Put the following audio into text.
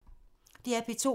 DR P2